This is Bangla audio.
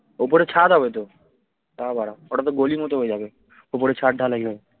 ওপরে ছাদ হবে তো যা বাড়া ওটা তো গলির মত হয়ে যাবে ওপরে ছাদ ঢালাই হবে